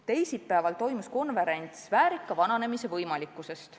Teisipäeval toimus konverents "Väärika vananemise võimalikkusest.